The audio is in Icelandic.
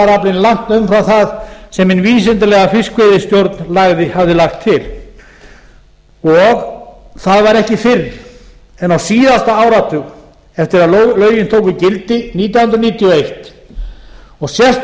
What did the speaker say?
var heildaraflinn langt umfram það sem hin vísindalega fiskveiðistjórn hafði lagt til og það var ekki fyrr en á síðasta áratug eftir að lögin tóku gildi nítján hundruð níutíu og eins og